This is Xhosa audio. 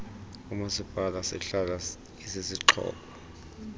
ngumasipala sihlala isisixhobo